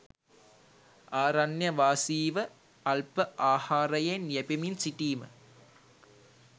ආරණ්‍යවාසීව අල්ප ආහාරයෙන් යැපෙමින් සිටීම